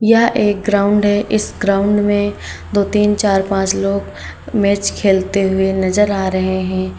यह एक ग्राउंड है इस ग्राउंड में दो तीन चार पांच लोग मैच खेलते हुए नजर आ रहे है।